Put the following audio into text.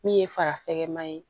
Min ye farafɛkɛma ye